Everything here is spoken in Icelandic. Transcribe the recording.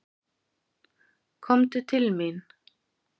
Komdu til mín.